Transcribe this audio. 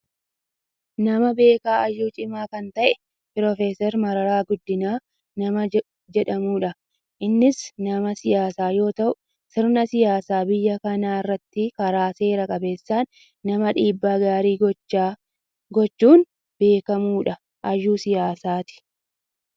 Nama beekaa hayyuu cimaa kan ta'e prof Mararaa Guddinaa nama jedhamudha. Innis nama siyaasaa yoo ta'u sirna siyaasa biyya kanaa irratti karaa seera qabeessaan nama dhiibbaa gaarii gochuun beekkamudha. Hayyuu siyaasaati.